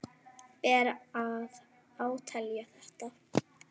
Ber að átelja þetta.